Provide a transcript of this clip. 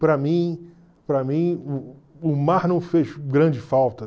Para mim, para mim o o mar não fez grande falta.